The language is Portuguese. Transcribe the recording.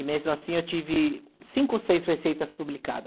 E mesmo assim eu tive cinco ou seis receitas publicada.